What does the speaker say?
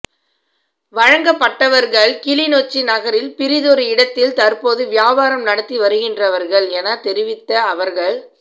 வழங்கப்பட்டவர்கள் கிளிநொச்சி நகரில் பிரிதொரு இடத்தில் தற்போது வியாபாரம் நடத்தி வருகின்றவர்கள் எனத் தெரிவித்த அவர்கள்